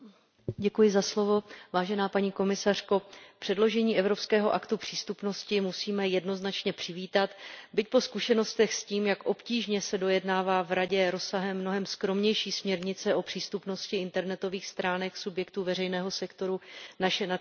Vážená paní komisařko, předložení Evropského aktu přístupnosti musíme jednoznačně přivítat, byť zkušenosti s tím, jak obtížně se dojednává v Radě rozsahem mnohem skromnější směrnice o přístupnosti internetových stránek subjektů veřejného sektoru, naše nadšení poněkud mírní.